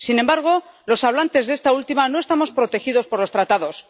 Sin embargo los hablantes de esta última no estamos protegidos por los Tratados.